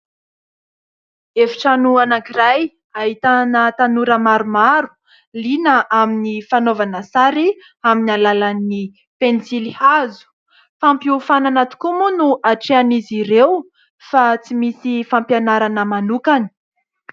Efitrano anankiray ahitana tanora maromaro liana amin'ny fanaovana sary amin'ny alalan'ny pensilihazo. Fampiofanana tokoa moa no hatrehan'izy ireo fa tsy misy fampianarana manokana.